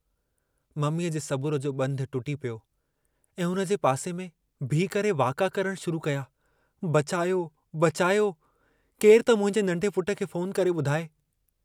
मम्मीअ जे सबुर जो बंधु टुटी पियो ऐं हुन जे पासे में बिही करे वाका करण शुरु कया बचायो बचायो... केरु त मुंहिंजे नंढे पुट खे फोन करे बुधाए।